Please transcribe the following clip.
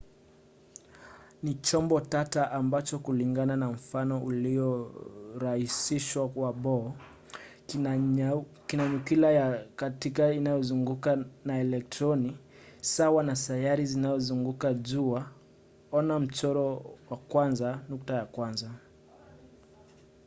ni chombo tata ambacho kulingana na mfano uliorahisishwa wa bohr kina nyuklia ya kati inayozungukwa na elektroni sawa na sayari zinavyozunguka jua - ona mchoro 1.1